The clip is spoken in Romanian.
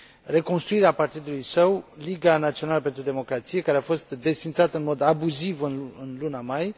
reconstruirea partidului său, Liga Națională pentru Democrație, care a fost desființat în mod abuziv în luna mai.